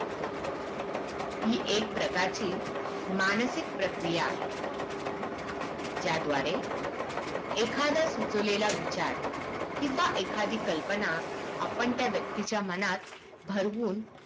ही एक प्रकारची मानसिक प्रक्रिया आहे त्या द्वारे एखादा सुचवलेला विचार किवा एखादी कल्पना आपण त्या व्यक्तीच्या मनात भरवून